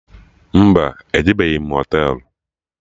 Mba, ejebeghi m Họtelụ